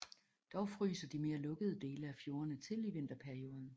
Dog fryser de mere lukkede dele af fjordene til i vinterperioden